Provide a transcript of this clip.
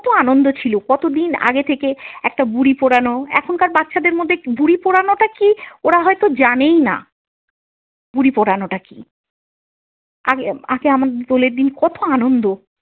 কত আনন্দ ছিল, কতদিন আগে থেকে একটা বুড়ী পোড়ানো এখনকার বাচ্ছাদের মধ্যে বুড়ী পোড়ানোটা কী ওরা হয়ত জানেই না, বুড়ী পড়ানোটা কী? আগে আগে আমাদের দোলের দিন কত আনন্দ।